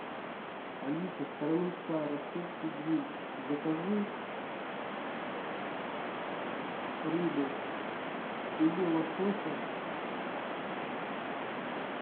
алиса староминская ростовский гриль закажи рыбу филе лосося